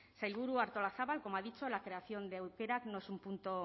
sailburu artolazabal como ha dicho la creación de aukerak no es un punto